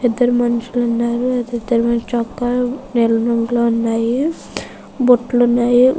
ఇద్దరు మనుషులు ఉన్నారు. ఇద్దరు మనుషులు చొక్కాలు నీలం రంగులో ఉన్నాయి. బుట్టలు ఉన్నాయి.